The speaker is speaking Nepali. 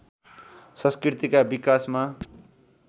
संस्कृतिका विकासमा